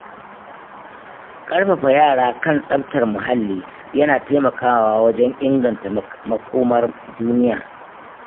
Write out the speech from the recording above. ƙarfafa yara kan tsaftar muhalli yana taimakawa wajen inganta makomar duniya.